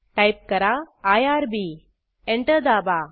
type करा IRB enter दाबा